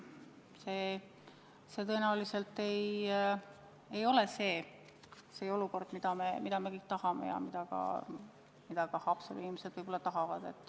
See tõenäoliselt ei ole olukord, mida me kõik tahame ja mida Haapsalu inimesed tahavad.